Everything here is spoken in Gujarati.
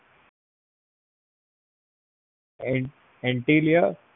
antilia